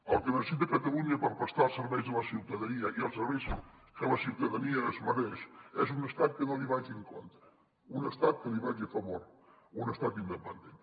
el que necessita catalunya per prestar els serveis a la ciutadania i els serveis que la ciutadania es mereix és un estat que no li vagi en contra un estat que li vagi a fa·vor un estat independent